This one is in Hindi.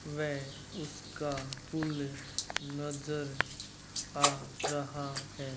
वै उसका पुल नज़र आ रहा है।